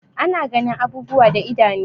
Ana ganin abubuwa da idanu.